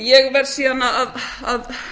ég verð síðan að